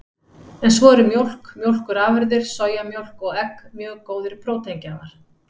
En svo eru mjólk, mjólkurafurðir, sojamjólk og egg mjög góðir próteingjafar.